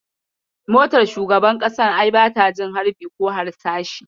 Motar shugaban ƙasan ai bata jin harbi/harsashi.